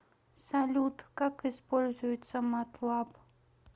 салют как используется матлаб